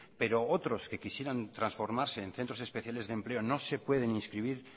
pero otros que quisieran transformarse en centros especiales de empleo no se pueden inscribir